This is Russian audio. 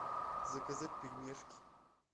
заказать пельмешки